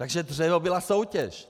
Takže dřevo byla soutěž.